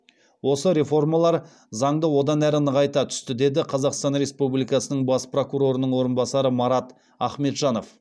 осы реформалар заңды одан әрі нығайта түсті деді қазақстан республикасының бас прокурорының орынбасары марат ахметжанов